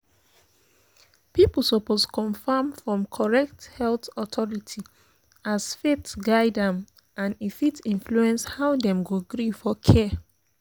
people suppose confirm from correct health authority as faith guide am and e fit influence how dem go gree for care.